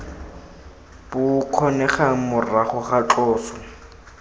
bo kgonegang morago ga tloso